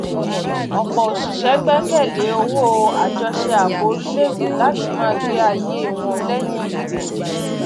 ọpọ òṣìṣẹ gbẹkẹlé owó àjọṣe ààbò orílẹèdè láti máa gbé ayé wọn lẹyìn ìfeyìntí